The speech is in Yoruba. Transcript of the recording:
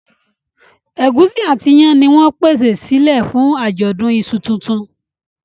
Egusi àti iyán ní wón pèsè silẹ fún ajọdun iṣu títún.